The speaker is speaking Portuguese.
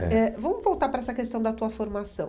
É É Vamos voltar para essa questão da tua formação.